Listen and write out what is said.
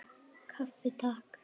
Kaffi, Takk!